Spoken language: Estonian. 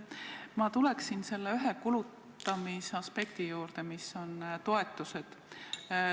Ma tulen selle ühe kulutamise aspekti juurde, toetuste juurde.